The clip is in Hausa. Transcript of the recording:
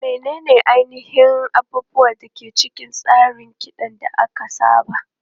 Menene ainihin abubuwan da ke cikin tsarin ki ka da aka saba?